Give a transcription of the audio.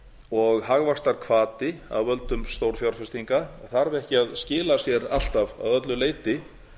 og hagvaxtarhvati af völdum stórfjárfestinga þarf ekki að skila sér alltaf að öllu leyti